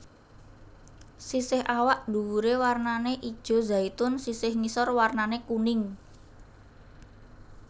Sisih awak nduwure warnane ijo zaitun sisih ngisor warnane kuning